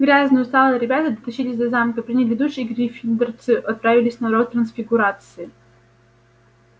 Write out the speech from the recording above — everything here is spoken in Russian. грязные усталые ребята дотащились до замка приняли душ и гриффиндорцы отправились на урок трансфигурации